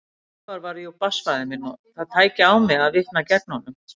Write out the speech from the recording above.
Sævar væri jú barnsfaðir minn og það tæki á mig að vitna gegn honum.